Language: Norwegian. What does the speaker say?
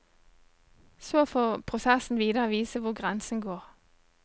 Så får prosessen videre vise hvor grensen går.